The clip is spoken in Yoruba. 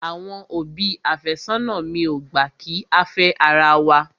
Àwọn òbí àfẹ́sónà mi ò gbà kí á fẹ́ ara wa.